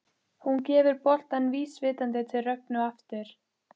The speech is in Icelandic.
Hún gefur boltann vísvitandi til Rögnu aftur.